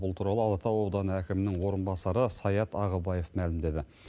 бұл туралы алатау ауданы әкімінің орынбасары саят ағыбаев мәлімдеді